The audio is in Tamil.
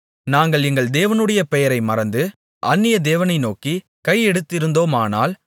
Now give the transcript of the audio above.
நாங்கள் எங்கள் தேவனுடைய பெயரை மறந்து அந்நியதேவனை நோக்கிக் கையெடுத்திருந்தோமானால்